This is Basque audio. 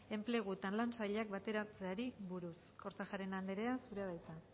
enplegu eta lan sailak bateratzeari buruz kortajarena andrea zurea da hitza